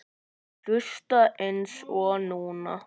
Og hlusta eins og núna.